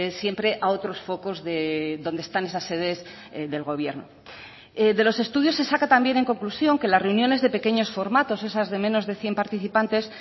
siempre a otros focos donde están esas sedes del gobierno de los estudios se saca también en conclusión que las reuniones de pequeños formatos esas de menos de cien participantes